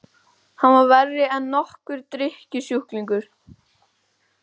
Hann var verri en nokkur drykkjusjúklingur!